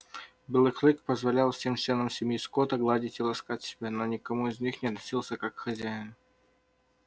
белый клык позволял всем членам семьи скотта гладить и ласкать себя но ни к кому из них он не относился как к хозяин